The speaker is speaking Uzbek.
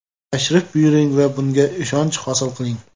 Tashrif buyuring va bunga ishonch hosil qiling!